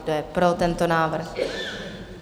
Kdo je pro tento návrh?